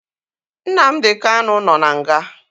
Nnamdi Kanu nọ n'nga